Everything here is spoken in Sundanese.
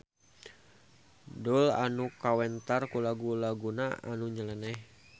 Doel anu kawentar ku lagu-laguna anu nyeleneh.